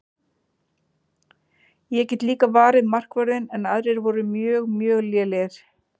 Ég get líka varið markvörðinn en aðrir voru mjög mjög lélegir.